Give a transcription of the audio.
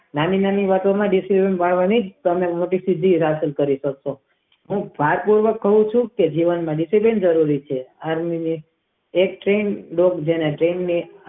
નાની નાની વાત માં તમારે ડિસિઝન કરવું જોઈએ તમે મોટી સીધી દાખલ કરી છે જે જાત માં વાટ જોવ ચુ કે તે જાતે કરેલું ડિસિઝન છે સારું એવી રીતે કરવું જોઈએ.